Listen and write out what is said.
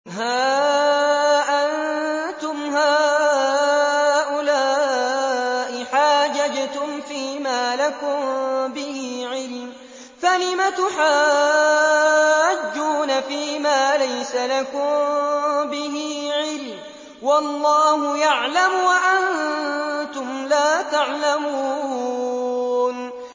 هَا أَنتُمْ هَٰؤُلَاءِ حَاجَجْتُمْ فِيمَا لَكُم بِهِ عِلْمٌ فَلِمَ تُحَاجُّونَ فِيمَا لَيْسَ لَكُم بِهِ عِلْمٌ ۚ وَاللَّهُ يَعْلَمُ وَأَنتُمْ لَا تَعْلَمُونَ